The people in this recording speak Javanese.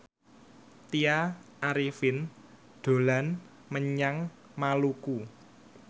Tya Arifin dolan menyang Maluku